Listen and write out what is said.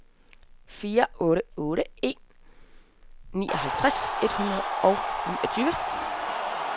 fire otte otte en nioghalvtreds et hundrede og niogtyve